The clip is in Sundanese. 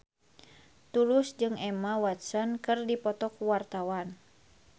Tulus jeung Emma Watson keur dipoto ku wartawan